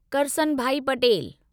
Karsanbhai Patel